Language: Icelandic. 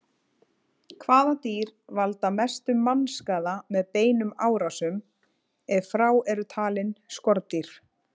Hvaða dýr valda mestum mannskaða með beinum árásum, ef frá eru talin skordýr?